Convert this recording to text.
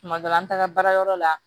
Tuma dɔ la an taara baarayɔrɔ la